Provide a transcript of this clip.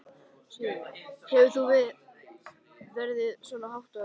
Sigríður: Hefur þú séð verðið svona hátt áður?